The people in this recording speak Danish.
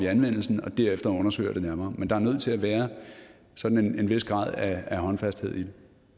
anvendelsen og derefter undersøger det nærmere men der er nødt til at være sådan en vis grad af håndfasthed i